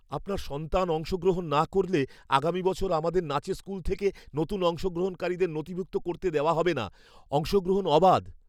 আপনার সন্তান অংশগ্রহণ না করলে আগামী বছর আমাদের নাচের স্কুল থেকে নতুন অংশগ্রহণকারীদের নথিভুক্ত করতে দেওয়া হবে না। অংশগ্রহণ অবাধ।